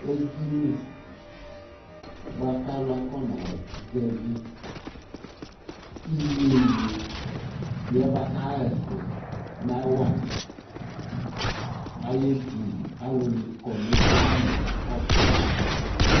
Edini bʋakʋ alu afɔna zɛvi iyeyi ye bʋakʋ afɔna ɣɛsɛ nawa ayʋ edini Alu kɔ nʋ edini ye kakɔsu amɛ ayʋ ɛkʋ